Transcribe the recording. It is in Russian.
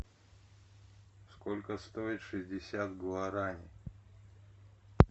сколько стоит шестьдесят гуарани